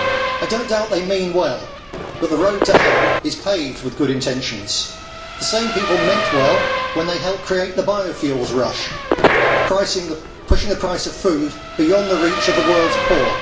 I do not doubt that they mean well but the road to hell is paved with good intentions. The same people meant well when they helped to create the biofuels rush, pushing the price of food beyond the reach of the world's poor.